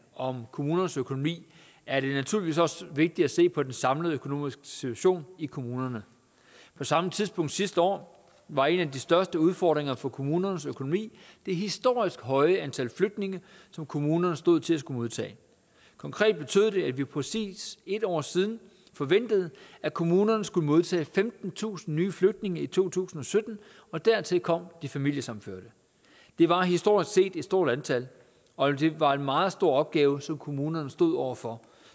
om kommunernes økonomi er det naturligvis også vigtigt at se på den samlede økonomiske situation i kommunerne på samme tidspunkt sidste år var en af de største udfordringer for kommunernes økonomi det historisk høje antal flygtninge som kommunerne stod til at skulle modtage konkret betød det at vi præcis en år siden forventede at kommunerne skulle modtage femtentusind flygtninge i to tusind og sytten og dertil kom de familiesammenførte det var historisk set et stort antal og det var en meget stor opgave som kommunerne stod over for